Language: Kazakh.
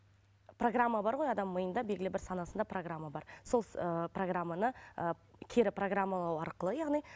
программа бар ғой адамның миында белгілі бір санасында программа бар сол ыыы программаны ы кері программалау арқылы яғни